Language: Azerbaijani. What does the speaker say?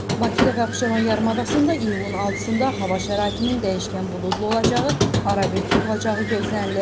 Bakıda və Abşeron yarımadasında iyunun 6-da hava şəraitinin dəyişkən buludlu olacağı, arabir tutulacağı gözlənilir.